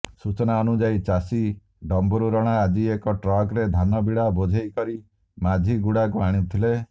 ସୂଚନାଅନୁସାରେ ଚାଷୀ ଡମ୍ୱରୁ ରଣା ଆଜି ଏକ ଟ୍ରକରେ ଧାନ ବିଡ଼ା ବୋଝେଇ କରି ମାଝିଗୁଡ଼ାକୁ ଆଣୁଥିଲେ